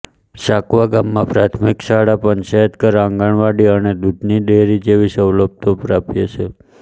સાકવા ગામમાં પ્રાથમિક શાળા પંચાયતઘર આંગણવાડી અને દૂધની ડેરી જેવી સવલતો પ્રાપ્ય છે